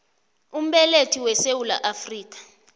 umbelethi wesewula afrika